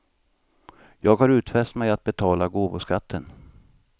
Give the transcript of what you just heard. Jag har utfäst mig att betala gåvoskatten.